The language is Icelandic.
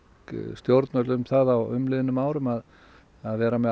stjórnvöld um það á umliðnum árum að að vera með